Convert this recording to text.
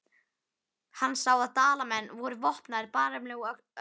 Hann sá að Dalamenn voru vopnaðir bareflum og öxum.